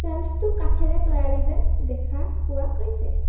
শ্বেল্ফটো কাঠেৰে তৈয়াৰী যেন দেখা পোৱা গৈছে।